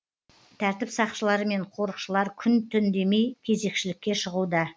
тәртіп сақшылары мен қорықшылар күн түн демей кезекшілікке шығуда